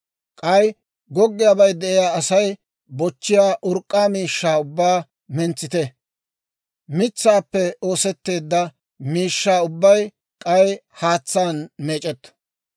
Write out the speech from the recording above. « ‹K'ay goggiyaabay de'iyaa Asay bochchiyaa urk'k'aa miishshaa ubbaa mentsite; mitsaappe oosetteedda miishshaa ubbay k'ay haatsaan meec'etto.